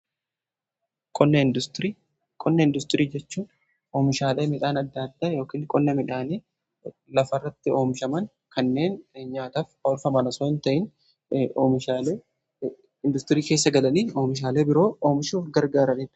qonna industirii, qonna industirii jechuun oomishaale midhaan adda adda yookan qonna midhaanii lafarratti oomishaman kanneen nyaataf olfaman osoo hin ta'in oomishaalee industirii keessa galanii oomishaalee biroo oomishuuf gargaara dha.